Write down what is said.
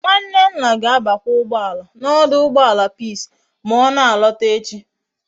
Nwanne nna ga abakwa ugboala na oduugboala peace ma ona alota echi